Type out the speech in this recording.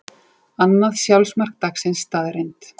Annað sjálfsmark dagsins staðreynd